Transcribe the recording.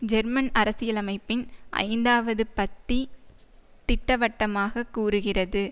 German அரசியலமைப்பின் ஐந்தாவது பத்தி திட்டவட்டமாக கூறுகிறது